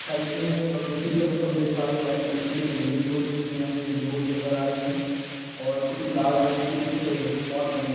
side में दूसरी तरफ हम देख पा रहें हैं वाइट कलर की एक बिल्डिंग को जिसमे हमें विंडोज नज़र आ रहीं हैं और लाल रंग के कुछ स्पॉट बने --